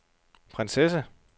prinsesse